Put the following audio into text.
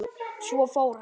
Svo fór hann.